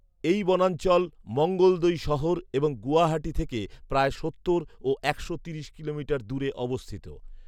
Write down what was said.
এই বনাঞ্চল মঙ্গলদৈ শহর এবং গুয়াহাটি থেকে প্ৰায় সত্তর ও একশো তিরিশ কিলোমিটার দূরে অবস্থিত৷